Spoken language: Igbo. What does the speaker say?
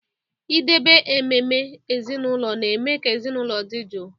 Idebe ememe ezinụlọ na-eme ka ezinụlọ dị jụụ